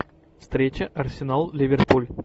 встреча арсенал ливерпуль